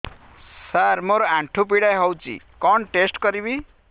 ସାର ମୋର ଆଣ୍ଠୁ ପୀଡା ହଉଚି କଣ ଟେଷ୍ଟ କରିବି